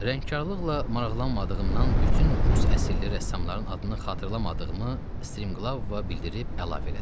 Rəngkarlıqla maraqlanmadığımdan bütün rus əsilli rəssamların adını xatırlamadığımı Striglovova bildirib əlavə elədim.